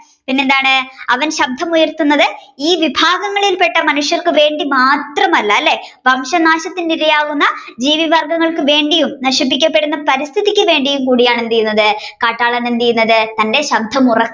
പിന്നെ അവൻ ശബ്ദം ഉയർത്തുന്നത് ഈ വിഭാഗങ്ങളിൽ പെട്ട മനുഷ്യർക്ക് വേണ്ടി മാത്രമല്ല അല്ലെ വംശനാശത്തിനിരയാകുന്ന ജീവസസ്യങ്ങൾക്കു വേണ്ടിയും നശിപ്പിക്കപ്പെടുന്ന പരിസ്ഥിതിക്കും കൂടിയാണ് എന്ത് ചെയുന്നത് കാട്ടാളൻ എന്ത്ചെയ്യുന്നത് തന്റെ ശബ്ദം ഉറക്കെ